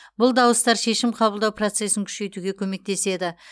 бұл дауыстар шешім қабылдау процесін күшейтуге көмектеседі